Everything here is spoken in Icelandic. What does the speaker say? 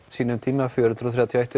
sínum tíma fjögur hundruð þrjátíu og eitt